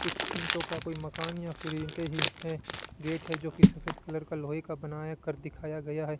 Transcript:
कुछ ईंटों का कोई मकान या फिर ईंटें ही है गेट है जोकि सफेद कलर का लोहे का बनाया कर दिखाया गया है।